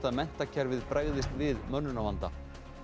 að menntakerfið bregðist við mönnunarvanda